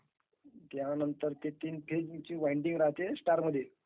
त्यानंतर ते three phase चा वायरींग राहाते ............ is not clear